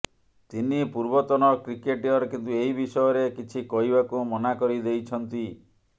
ତିନି ପୂର୍ବତନ କ୍ରିକେଟର କିନ୍ତୁ ଏହି ବିଷୟରେ କିଛି କହିବାକୁ ମନା କରି ଦେଇଛନ୍ତି